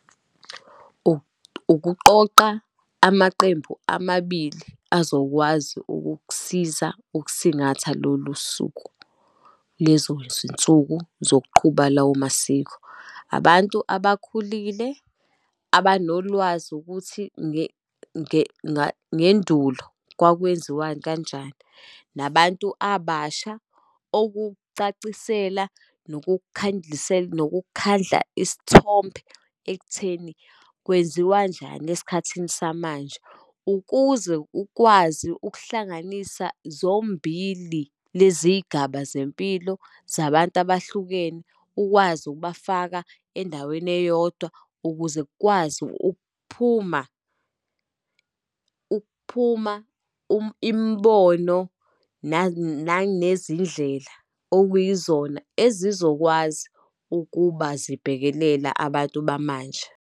Ukuqoqa amaqembu amabili azokwazi ukukusiza ukusingatha lolu suku, lezo zinsuku zokuqhuba lawo masiko. Abantu abakhulile abanolwazi ukuthi ngendulo kwakwenziwa kanjani, nabantu abasha okucacisela nokukhandlisela, nokukhandla isithombe ekutheni kwenziwanjani esikhathini samanje. Ukuze ukwazi ukuhlanganisa zombili lezi iy'gaba zempilo zabantu abahlukene, ukwazi ukubafaka endaweni eyodwa ukuze kukwazi ukuphuma, ukuphuma imibono nanezindlela okuyizona ezizokwazi ukuba zibhekelela abantu bamanje.